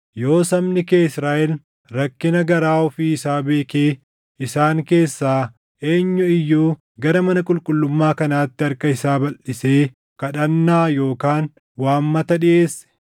yoo sabni kee Israaʼel rakkina garaa ofii isaa beekee isaan keessaa eenyu iyyuu gara mana qulqullummaa kanaatti harka isaa balʼisee kadhannaa yookaan waammata dhiʼeesse,